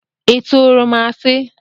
Ị turu m asi?